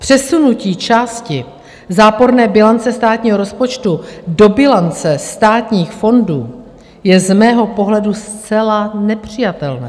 Přesunutí části záporné bilance státního rozpočtu do bilance státních fondů je z mého pohledu zcela nepřijatelné.